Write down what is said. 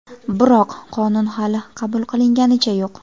Biroq, qonun hali qabul qilinganicha yo‘q.